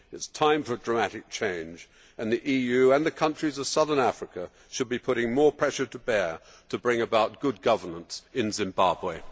It is time for a dramatic change and the EU and the countries of southern Africa should be bringing more pressure to bear to bring about good governance in Zimbabwe.